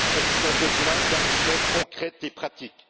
Elles ont besoin d'actions concrètes et pratiques.